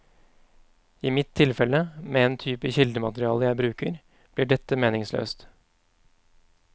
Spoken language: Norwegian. I mitt tilfelle, med en type kildemateriale jeg bruker, blir dette meningsløst.